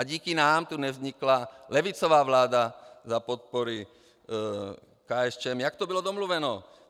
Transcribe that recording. A díky nám tu nevznikla levicová vláda za podpory KSČM, jak to bylo domluveno.